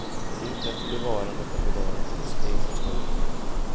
Det är inte ett bevarande för bevarandets egen skull.